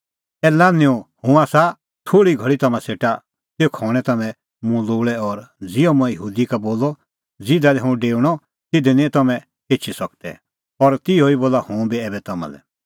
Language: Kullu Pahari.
ए लान्हैंओ हुंह आसा थोल़ी घल़ी तम्हां सेटा तेखअ हणैं तम्हैं मुंह लोल़ै और ज़िहअ मंऐं यहूदी का बोलअ ज़िधा लै हुंह डेऊणअ तिधी निं तम्हैं एछी सकदै और तिहअ ई बोला हुंह ऐबै तम्हां लै